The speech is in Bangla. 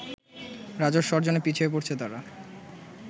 রাজস্ব অর্জনে পিছিয়ে পড়ছে তারা